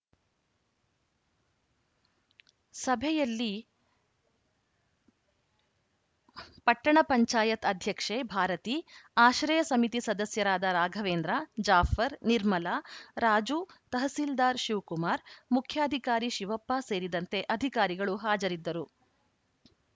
ಸಭೆಯಲ್ಲಿ ಪಟ್ಟಣ ಪಂಚಾಯತ್ ಅಧ್ಯಕ್ಷೆ ಭಾರತಿ ಆಶ್ರಯ ಸಮಿತಿ ಸದಸ್ಯರಾದ ರಾಘವೇಂದ್ರ ಜಾಫರ್‌ ನಿರ್ಮಲಾ ರಾಜು ತಹಸೀಲ್ದಾರ್‌ ಶಿವಕುಮಾರ್‌ ಮುಖ್ಯಾಧಿಕಾರಿ ಶಿವಪ್ಪ ಸೇರಿದಂತೆ ಅಧಿಕಾರಿಗಳು ಹಾಜರಿದ್ದರು